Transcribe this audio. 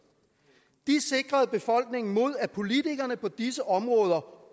de sikrede befolkningen mod at politikerne på disse områder